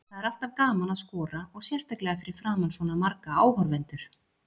Það er alltaf gaman að skora og sérstaklega fyrir framan svona marga áhorfendur.